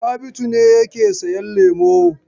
Sabitu ne yake sayan lemo.